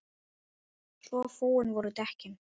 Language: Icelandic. Svo fúin voru dekkin.